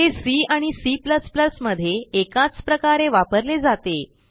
हे सी आणि C मध्ये एकाच प्रकारे वापरले जाते